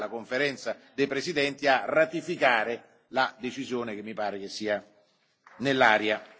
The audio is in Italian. Poi sarà la Conferenza dei presidenti a ratificare la decisione che mi pare sia nell'aria.